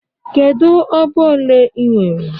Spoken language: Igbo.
Kedu ọba ole ị nwere?